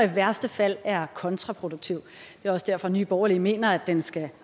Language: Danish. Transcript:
og i værste fald er kontraproduktiv det er også derfor at nye borgerlige mener at den skal